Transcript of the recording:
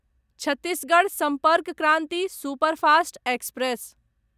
Chhattisgarh Sampark Kranti superfast express